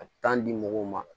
A bɛ di mɔgɔw ma